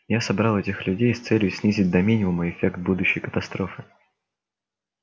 я собрал этих людей с целью снизить до минимума эффект будущей катастрофы